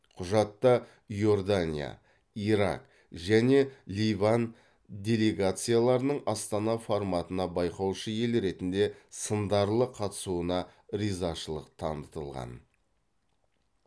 құжатта иордания ирак және ливан делегацияларының астана форматына байқаушы ел ретінде сындарлы қатысуына ризашылық танытылған